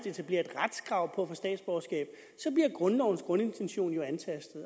etableret et retskrav på at grundlovens grundintention jo antastet